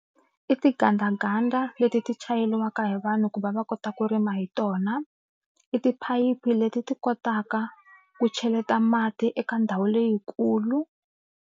I tigandaganda leti ti chayeriwaka hi vanhu ku va va kota ku rima hi tona i tiphayiphi leti ti kotaka ku cheleta mati eka ndhawu leyikulu.